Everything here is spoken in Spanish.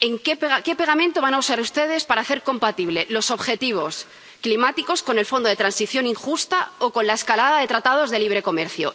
¿qué pegamento van a usar ustedes para hacer compatibles los objetivos climáticos con el fondo de transición injusta o con la escalada de tratados de libre comercio?